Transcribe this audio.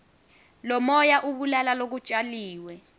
lomoya ubulala lokutjaliwe